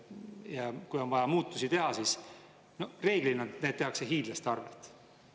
Ja kui on vaja muutusi teha, siis reeglina need tehakse hiidlaste arvelt.